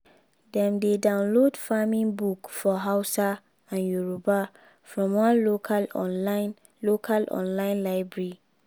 dem dey download farming book for hausa and yoruba from one local online local online library.